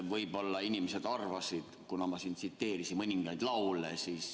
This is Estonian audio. Võib-olla inimesed arvasid nii, kuna ma siin tsiteerisin mõningaid laule.